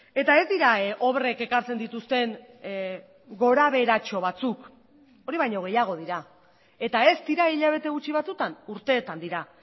eta ez dira obrek ekartzen dituzten gorabeheratxo batzuk hori baino gehiago dira eta ez dira hilabete gutxi batzutan urteetan dira